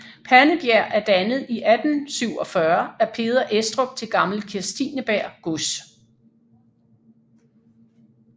Pandebjerg er dannet i 1847 af Peder Estrup til Gammel Kirstineberg Gods